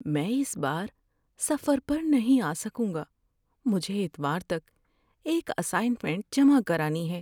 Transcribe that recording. میں اس بار سفر پر نہیں آ سکوں گا۔ مجھے اتوار تک ایک اسائنمنٹ جمع کرانی ہے۔